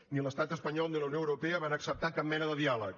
ni l’estat espanyol ni la unió europea van acceptar cap mena de diàleg